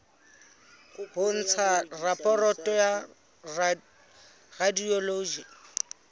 ho ntsha raporoto ya radiology